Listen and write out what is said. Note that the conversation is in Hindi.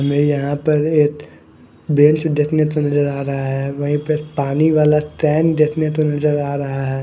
ये यहाँ पर एक बेंच ढकने के लिए आरा हैं वही पर पानी वाला टाइम देखने पे नजर आ रहा हैं ।